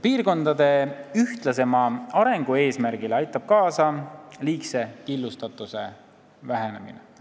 Piirkondade ühtlasema arengu eesmärgile aitab kaasa liigse killustatuse vähenemine.